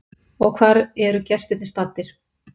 Og hvar eru gestirnir staddir?